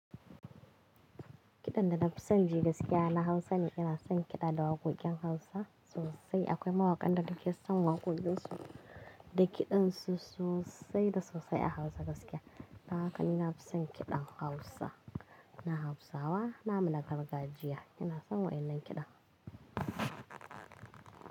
Kiɗan da na fi son ji gaskiya na Hausa ne. Ina son kiɗa da waƙoƙin Hausa sosai. Akwai mawaƙan da ake son waƙoƙinsu da kiɗansu sosai da sosai a Hausa gaskiya. Dan haka ni nafi son kiɗan Hausa. Na Hausawa, na muna kargajiya. Ina son waɗannan kiɗan.